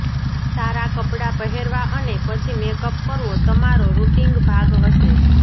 સારા કપડા પહેરવા અને પછી મેકઅપ કરવો તમારો રૂટિંગ ભાગ હશે